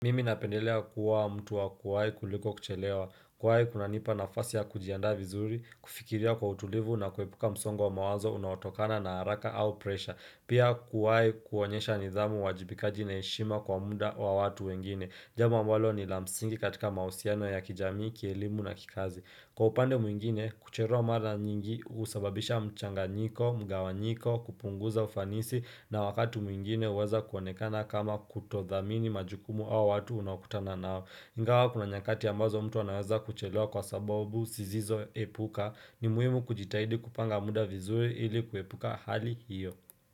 Mimi napendelea kuwa mtu wa kuwai kuliko kuchelewa, kuwai kuna nipa nafasi ya kujiandaa vizuri, kufikiria kwa utulivu na kuepuka msongo wa mawazo unawatokana na haraka au presha, pia kuwai kuonyesha nidhamu uwajibikaji na heshima kwa muda wa watu wengine, jambo ambalo ni lamsingi katika mahusiano ya kijamii, kielimu na kikazi. Kwa upande mwingine, kuchelewa mara nyingi usababisha mchanga nyiko, mgawa nyiko, kupunguza ufanisi na wakati mwingine uweza kuonekana kama kutodhamini majukumu au watu unaokutana nao. Inga wa kuna nyakati ambazo mtu anawaza kucherewa kwa sababu, sizizo epuka, ni muhimu kujitahidi kupanga muda vizuri ili kuepuka hali hiyo.